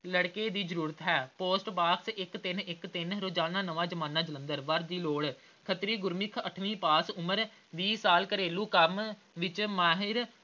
ਲੜਕੇ ਦੀ ਜ਼ਰੂਰਤ ਹੈ post ਬਾਕਸ ਇੱਕ ਤਿੰਨ ਇੱਕ ਤਿੰਨ ਰੋਜ਼ਾਨਾ ਨਵਾਂ ਜ਼ਮਾਨਾ ਜਲੰਧਰ। ਖ਼ੱਤਰੀ ਗੁਰਮੁੱਖ ਅੱਠਵੀ ਪਾਸ ਉਮਰ ਵੀਹ ਸਾਲ ਘਰੇਲੂ ਕੰਮ ਵਿੱਚ ਮਾਹਿਰ